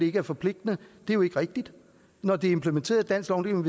ikke er forpligtende er jo ikke rigtigt når det er implementeret i dansk lovgivning